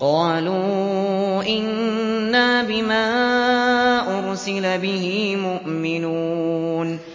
قَالُوا إِنَّا بِمَا أُرْسِلَ بِهِ مُؤْمِنُونَ